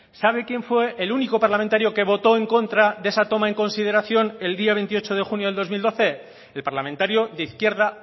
sabe quién fue el único parlamentario que votó en contra de esa toma en consideración el día veintiocho de junio del dos mil doce el parlamentario de izquierda